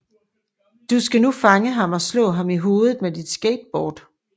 Du skal nu fange ham og slå ham i hovedet med dit skateboard